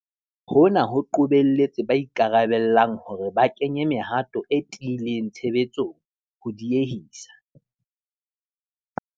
Hona ho qobelletse ba ikarabellang hore ba kenye mehato e tiileng tshebetsong, ho diehisa